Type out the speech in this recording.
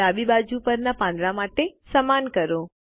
ડાબી બાજુ પરના પાંદડા માટે સમાન કરો